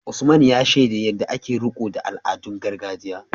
Usman, ya shaida yadda ake riko da al’adun gargajiya.